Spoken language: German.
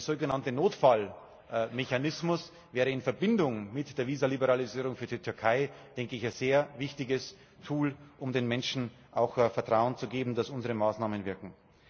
Ein sogenannter Notfallmechanismus wäre in Verbindung mit der Visaliberalisierung für die Türkei ein sehr wichtiges Tool, um den Menschen Vertrauen zu geben, dass unsere Maßnahmen wirken.